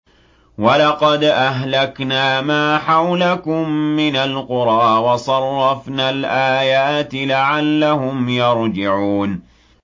وَلَقَدْ أَهْلَكْنَا مَا حَوْلَكُم مِّنَ الْقُرَىٰ وَصَرَّفْنَا الْآيَاتِ لَعَلَّهُمْ يَرْجِعُونَ